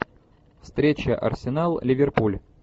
встреча арсенал ливерпуль